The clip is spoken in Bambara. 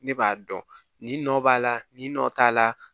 Ne b'a dɔn nin nɔ b'a la nin nɔ t'a la